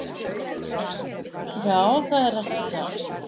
Já, það er rætt um það